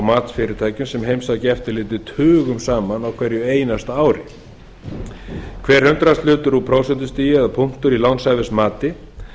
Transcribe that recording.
matsfyrirtækjum sem heimsækja eftirlitið tugum saman á hverju einasta ári hver hundraðshlutur úr prósentustigi eða punktur í lánshæfismati